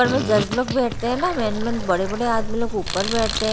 और वे जज लोग बैठते हैं ना मेन मेन बड़े बड़े आदमी लोग ऊपर बैठते हैं।